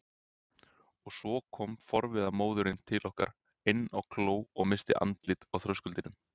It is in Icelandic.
Og svo kom forviða móðirin til okkar inn á kló og missti andlitið á þröskuldinum.